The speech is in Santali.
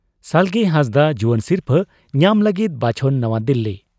ᱥᱟᱞᱜᱮ ᱦᱟᱸᱥᱫᱟᱜ ᱡᱩᱣᱟᱹᱱ ᱥᱤᱨᱯᱷᱟᱹ ᱧᱟᱢ ᱞᱟᱹᱜᱤᱫ ᱵᱟᱪᱷᱚᱱ ᱱᱟᱣᱟ ᱫᱤᱞᱞᱤ